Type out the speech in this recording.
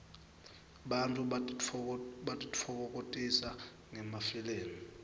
bantfu batitfokokotisa ngemafilmi